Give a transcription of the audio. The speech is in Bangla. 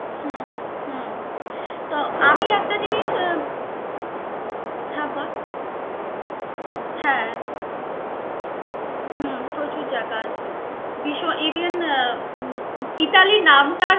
হম তো আমি একটা জিনিস, হ্যা বল. হ্যা হম প্রচুর জায়গা আছে. ভিষ~ even উহ ইতালি নামটা